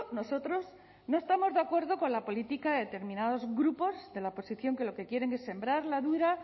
nosotros no estamos de acuerdo con la política de determinados grupos de la oposición que lo que quieren es sembrar la duda